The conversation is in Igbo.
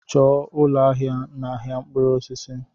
Chọọ ụlọ ahịa n'ahịa mkpụrụ osisi!